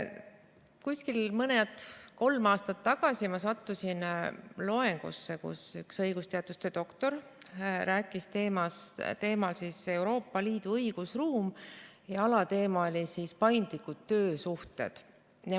Kuskil kolm aastat tagasi sattusin ma loengusse, kus üks õigusteaduse doktor rääkis teemal "Euroopa Liidu õigusruum" ja alateema oli "Paindlikud töösuhted".